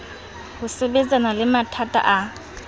ho sebetsana le mathata a